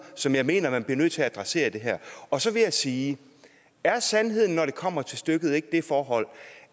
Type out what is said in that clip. som jeg mener man bliver nødt til at adressere i det her og så vil jeg sige er sandheden når det kommer til stykket ikke det forhold